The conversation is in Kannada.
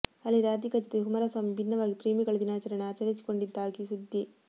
ಅಲ್ಲಿ ರಾಧಿಕಾ ಜತೆ ಕುಮಾರಸ್ವಾಮಿ ಭಿನ್ನವಾಗಿ ಪ್ರೇಮಿಗಳ ದಿನಾಚರಣೆಯನ್ನು ಆಚರಿಸಿಕೊಂಡಿದ್ದಾಗಿ ಸುದ್ದಿ